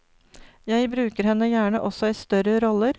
Jeg bruker henne gjerne også i større roller.